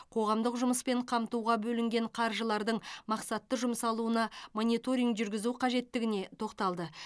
қоғамдық жұмыспен қамтуға бөлінген қаржылардың мақсатты жұмсалуына мониторинг жүргізу қажеттігіне тоқталды